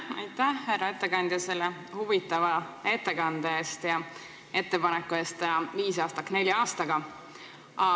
Aitäh, härra ettekandja, selle huvitava ettekande eest ja ettepaneku eest teha viisaastak ära nelja aastaga!